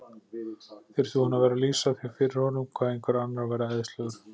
Þurfti hún að vera að lýsa því fyrir honum hvað einhver annar væri æðislegur?